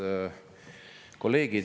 Head kolleegid!